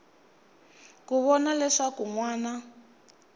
ku vona leswaku n wana